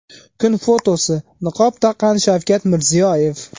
Kun fotosi: Niqob taqqan Shavkat Mirziyoyev.